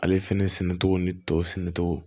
Ale fɛnɛ sɛnɛcogo ni tɔw sɛnɛ cogo